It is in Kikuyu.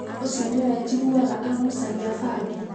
ũcio nĩwe njiguaga agucagia bangi?